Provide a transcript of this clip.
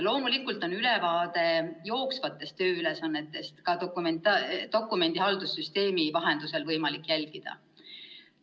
Loomulikult on ülevaadet tööülesannetest võimalik ka dokumendihaldussüsteemi vahendusel jälgida.